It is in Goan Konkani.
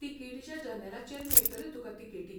तिकेटीच्या जनेलाचेर मेळटल्यो तुका तिकेटी.